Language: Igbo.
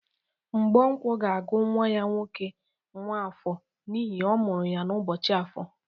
Mgbonkwo ga-agụ nwa ya nwoke nwafọ n'ihi ọ mụrụ ya n'ụbọchị afọ.